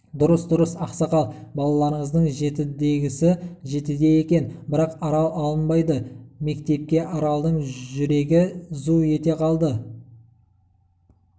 дұрыс дұрыс ақсақал балаларыңыздың жетідегісі жетіде екен бірақ арал алынбайды мектепке аралдың жүрегі зу ете калды